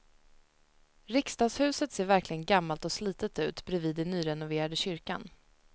Riksdagshuset ser verkligen gammalt och slitet ut bredvid den nyrenoverade kyrkan.